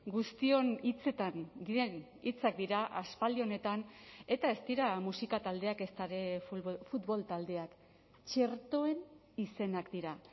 guztion hitzetan diren hitzak dira aspaldi honetan eta ez dira musika taldeak ezta ere futbol taldeak txertoen izenak dira